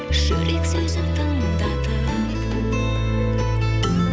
жүрек сөзін тыңдатып